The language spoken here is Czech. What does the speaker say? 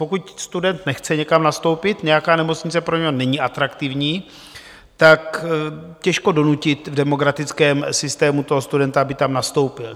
Pokud student nechce někam nastoupit, nějaká nemocnice pro něho není atraktivní, tak těžko donutit v demokratickém systému toho studenta, aby tam nastoupil.